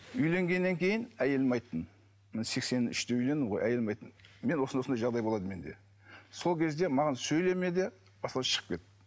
үйленгеннен кейін әйеліме айттым мен сексен үште үйлендім ғой әйеліме айттым мен осындай осындай жағдай болады менде сол кезде маған сөйлеме де осылай шығып кет